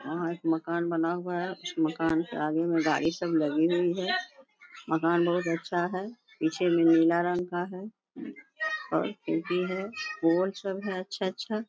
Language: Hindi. यहाँ एक मकान बना हुआ है कुछ मकान के आगे में गाड़ी सब लगी हुए है | मकान बोहोत अच्छा है पीछे में नीला रंग का है और टीबी है पोर्च सब है अच्छा-अच्छा।